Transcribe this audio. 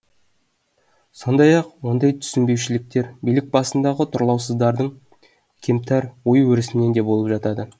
сондай ақ ондай түсінбеушіліктер билік басындағы тұрлаусыздардың кемтар ой өрісінен де болып жатады